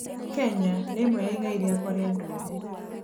Kenya nĩ ĩmwe ya igai rĩakwa rĩa nduire.